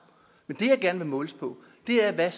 men det jeg gerne vil måles på er hvad